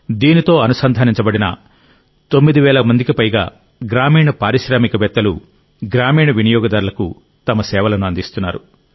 దీనితో అనుబంధించబడిన 9000 మందికి పైగా గ్రామీణ పారిశ్రామికవేత్తలు గ్రామీణ వినియోగదారులకు తమ సేవలను అందిస్తున్నారు